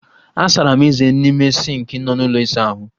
Asara m eze n'ime sịnkị nọ n'ụlọ ịsa ahụ